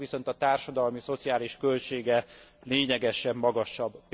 Ennek viszont a társadalmi, szociális költsége lényegesen magasabb.